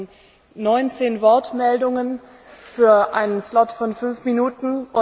Wir hatten 19 Wortmeldungen für einen Slot von fünf Minuten.